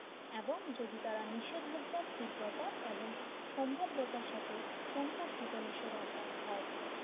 এবং যদি তারা নিষেধাজ্ঞা কৃপাতা এবং সম্ভাব্যতার সাথে সম্পর্কিত নিষেধাজ্ঞায় ভয় পায়